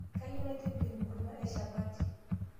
Kayeu naitibir nkuruma eshapati